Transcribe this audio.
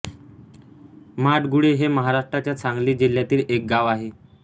माडगुळे हे महाराष्ट्राच्या सांगली जिल्ह्यातील एक गाव आहे